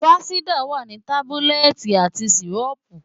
Fansidar wà ní tábúlẹ̀tì àti sìrọ́ọ̀pù.